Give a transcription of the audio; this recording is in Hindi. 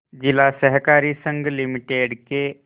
जिला सहकारी संघ लिमिटेड के